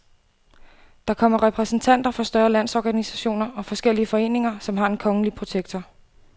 Der kommer repræsentanter for større landsorganisationer og forskellige foreninger, som har en kongelige protektor.